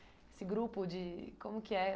Esse grupo de como que é?